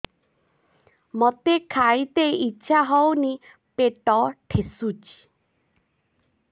ମୋତେ ଖାଇତେ ଇଚ୍ଛା ହଉନି ପେଟ ଠେସୁଛି